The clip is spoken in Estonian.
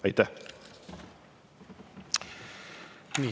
Aitäh!